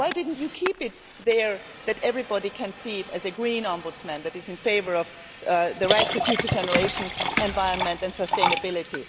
Why did you not keep it there so that everybody could see a Green Ombudsman who is in favour of the rights of future generations, environment and sustainability?